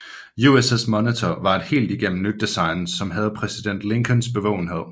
USS Monitor var et helt igennem nyt design som havde præsident Lincolns bevågenhed